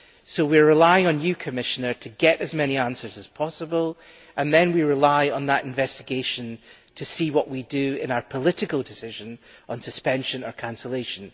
So we are relying on you, Commissioner, to get as many answers as possible, and then we will rely on that investigation to see what to do in our political decision on suspension or cancellation.